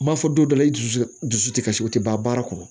N m'a fɔ don dɔ la i dusu dusu tɛ kasi o tɛ ban baara kɔnɔ